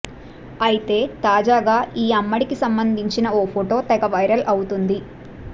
అయితే తాజాగా ఈ అమ్మడికి సంబంధించిన ఓ ఫోటో తెగ వైరల్ అవుతోంది